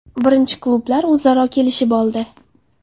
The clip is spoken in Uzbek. Birinchi klublar o‘zaro kelishib oldi.